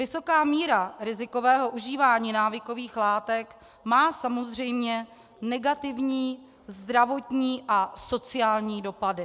Vysoká míra rizikového užívání návykových látek má samozřejmě negativní zdravotní a sociální dopady.